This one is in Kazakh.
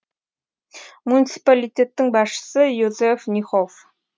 муниципалитеттің басшысы йозеф нихоф